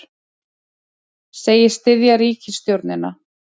Segist styðja ríkisstjórnina